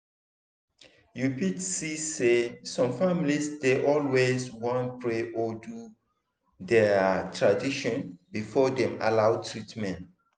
you fit see say some families dey always wan pray or do their tradition before dem allow treatment.